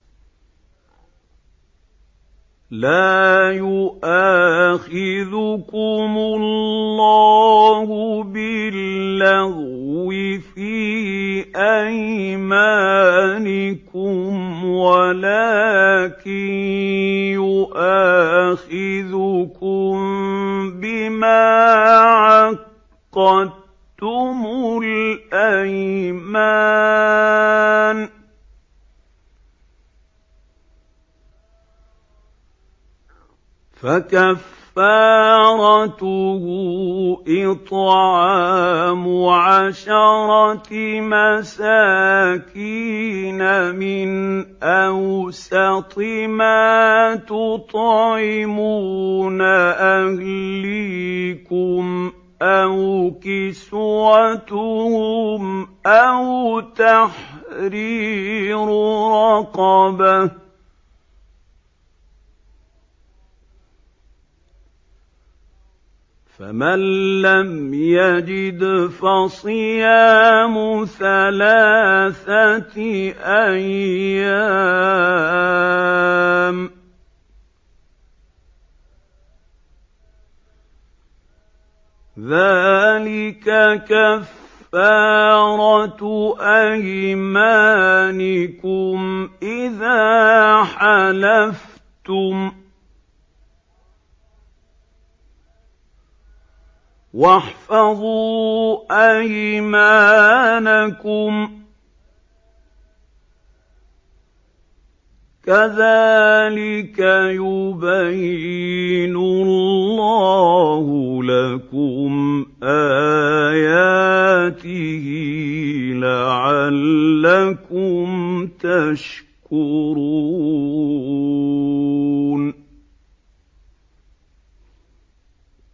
لَا يُؤَاخِذُكُمُ اللَّهُ بِاللَّغْوِ فِي أَيْمَانِكُمْ وَلَٰكِن يُؤَاخِذُكُم بِمَا عَقَّدتُّمُ الْأَيْمَانَ ۖ فَكَفَّارَتُهُ إِطْعَامُ عَشَرَةِ مَسَاكِينَ مِنْ أَوْسَطِ مَا تُطْعِمُونَ أَهْلِيكُمْ أَوْ كِسْوَتُهُمْ أَوْ تَحْرِيرُ رَقَبَةٍ ۖ فَمَن لَّمْ يَجِدْ فَصِيَامُ ثَلَاثَةِ أَيَّامٍ ۚ ذَٰلِكَ كَفَّارَةُ أَيْمَانِكُمْ إِذَا حَلَفْتُمْ ۚ وَاحْفَظُوا أَيْمَانَكُمْ ۚ كَذَٰلِكَ يُبَيِّنُ اللَّهُ لَكُمْ آيَاتِهِ لَعَلَّكُمْ تَشْكُرُونَ